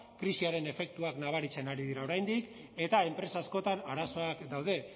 krisiaren efektuak nabaritzen ari dira oraindik eta enpresa askotan arazoak daude